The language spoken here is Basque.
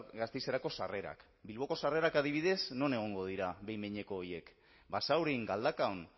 gasteizerako sarrerak bilboko sarrerak adibidez non egongo dira behin behineko horiek basaurin galdakaon